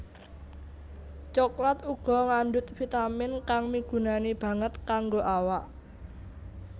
Coklat uga ngandhut vitamin kang migunani banget kanggo awak